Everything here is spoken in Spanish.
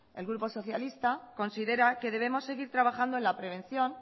el grupo socialista considera que debemos seguir trabajando en la prevención